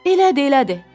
Elədir, elədir.